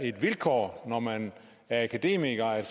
et vilkår når man er akademiker at